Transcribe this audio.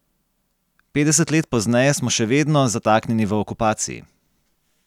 Petdeset let pozneje smo še vedno zataknjeni v okupaciji.